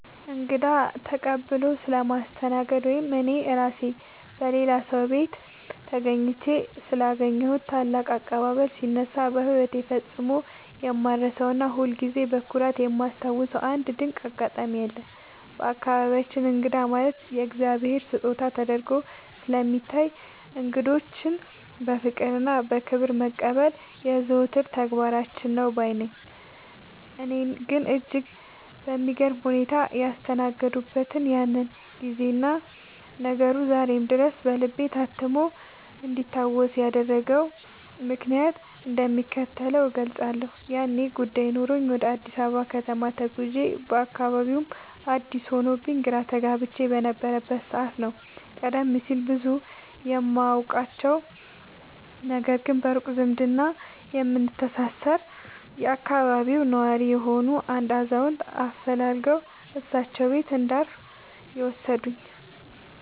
እንግዳን ተቀብሎ ስለማስተናገድ ወይም እኔ ራሴ በሌላ ሰው ቤት ተገኝቼ ስላገኘሁት ታላቅ አቀባበል ሲነሳ፣ በሕይወቴ ፈጽሞ የማልረሳውና ሁልጊዜም በኩራት የማስታውሰው አንድ ድንቅ አጋጣሚ አለ። በአካባቢያችን እንግዳ ማለት የእግዚአብሔር ስጦታ ተደርጎ ስለሚታይ፣ እንግዶችን በፍቅርና በክብር መቀበል የዘወትር ተግባራችን ነው ባይ ነኝ። እኔን እጅግ በሚገርም ሁኔታ ያስተናገዱበትን ያንን ጊዜና ነገሩ ዛሬም ድረስ በልቤ ታትሞ እንዲታወስ ያደረገውን ምክንያት እንደሚከተለው እገልጻለሁ፦ ያኔ ጉዳይ ኖሮኝ ወደ አዲስ አበባ ከተማ ተጉዤ፣ አካባቢውም አዲስ ሆኖብኝ ግራ ተጋብቼ በነበረበት ሰዓት ነው፤ ቀደም ሲል ብዙም የማውቃቸው፣ ነገር ግን በሩቅ ዝምድና የምንተሳሰር የአካባቢው ነዋሪ የሆኑ አንድ አዛውንት አፈላልገው እሳቸው ቤት እንዳርፍ የወሰዱኝ።